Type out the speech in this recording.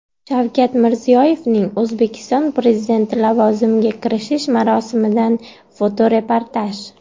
Shavkat Mirziyoyevning O‘zbekiston Prezidenti lavozimiga kirishish marosimidan fotoreportaj.